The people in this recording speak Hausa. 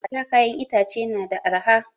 A da kayan itace na da arha